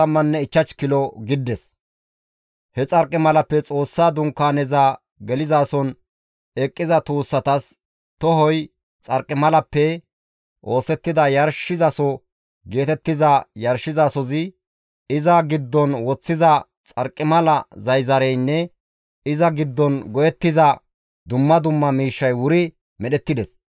He xarqimalappe Xoossa Dunkaaneza gelizason eqqiza tuussatas tohoy, xarqimalappe oosettida yarshizaso geetettiza yarshizasozi, iza giddon woththida xarqimala zayzareynne iza giddon go7ettiza dumma dumma miishshay wuri medhettides.